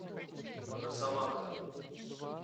росомаха